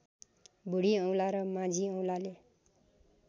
बुढीऔँला र माझीऔँलाले